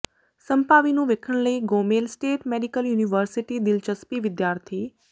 ਸੰਭਾਵੀ ਨੂੰ ਵੇਖਣ ਲਈ ਗੋਮੇਲ ਸਟੇਟ ਮੈਡੀਕਲ ਯੂਨੀਵਰਸਿਟੀ ਦਿਲਚਸਪੀ ਵਿਦਿਆਰਥੀ